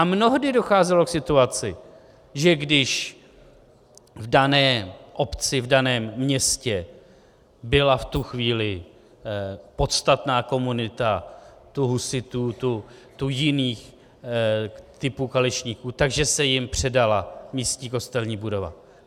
A mnohdy docházelo k situaci, že když v dané obci, v daném městě byla v tu chvíli podstatná komunita tu husitů, tu jiných typů kališníků, tak se jim předala místní kostelní budova.